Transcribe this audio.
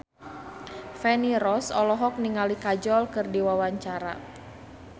Feni Rose olohok ningali Kajol keur diwawancara